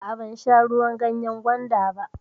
A'a, ban sha ruwan ganyan gwanda ba.